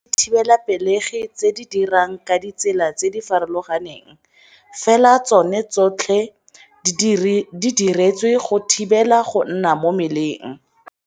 Go na le dithibelapelegi tse di dirang ka ditsela tse di farologaneng, fela tsone tsotlhe di diretswe go thibela go nna mo mmeleng.